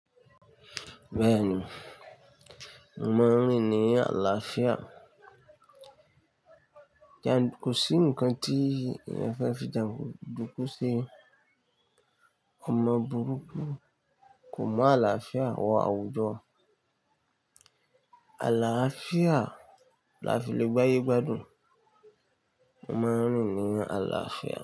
Bẹ́ẹ̀ni, mò maa n rín ni àlàáfíà. Kò sí ǹkan tí eyán fẹ́ fi jàńdúkú se. Òmọ burúkú, kò mu àlàáfíà, wọ àwùjọ. Àlàáfíà la fi lè gbayé gbádùn. Mò maa n rín ni àlàáfíà.